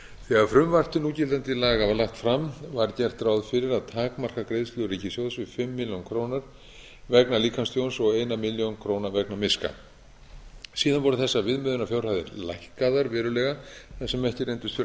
þegar frumvarp til núgildandi laga var lagt fram var gert ráð fyrir að takmarka greiðslur ríkissjóðs við fimm milljónir króna vegna líkamstjóns og fyrstu milljón króna vegna miska síðan voru þessar viðmiðunarfjárhæðir lækkaðar verulega þar sem ekki reyndust vera